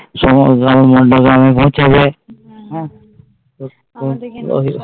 সময় মণ্ডপে আবার পৌঁছবে